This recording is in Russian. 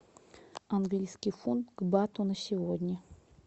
английский фунт к бату на сегодня